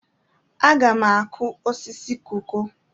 Aga m akụ osisi koko.